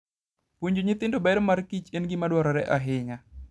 Puonjo nyithindo ber markich en gima dwarore ahinya.